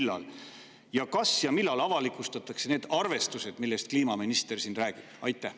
Kas ja millal avalikustatakse need arvestused, millest kliimaminister siin rääkis?